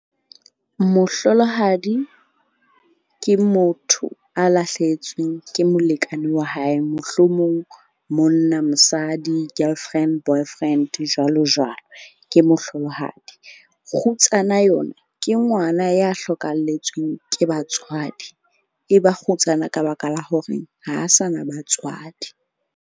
Mohlolohadi ke motho a lahlehetsweng ke molekane wa hae. Mohlomong monna, mosadi, girlfriend, boyfriend jwalo jwalo. Ke mohlolohadi. Kgutsana yona ke ngwana ya hlokahalletsweng ke batswadi. E ba kgutsana ka baka la hore ha sa na batswadi.